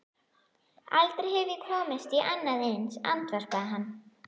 Aldrei hef ég komist í annað eins, andvarpaði hann.